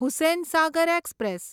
Hussain Sagar express